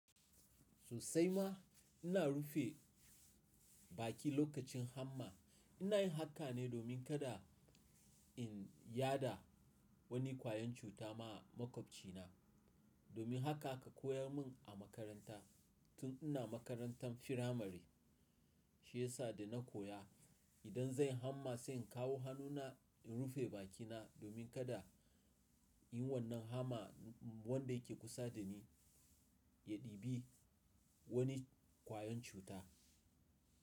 Sosai ma ina rufe baki lokacin hamma. Ina yin haka ne domin kada in yada wani kwayan cuta ma makwabcina. Domin haka aka koya mun a makaranta tun ina makarantan firamare, shi yasa da na koya idan zan yi hamma sai in kawo hannuna in rufe bakina domin kada yin wannan hamma wanda yake kusa da ni ya ɗibi wani kwayan cuta.